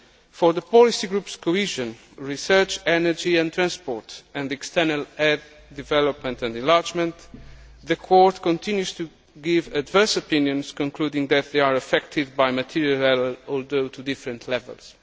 For the policy groups Cohesion, Research, energy and transport and External aid, development and enlargement, the Court continues to give adverse opinions concluding that they are affected by material error, although to different levels.